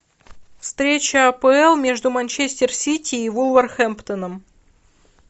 встреча апл между манчестер сити и вулверхэмптоном